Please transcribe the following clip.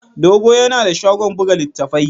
Dogo yana da shagon buga littattafai.